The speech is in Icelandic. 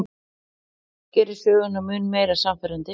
Gerir söguna mun meira sannfærandi.